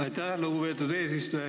Aitäh, lugupeetud eesistuja!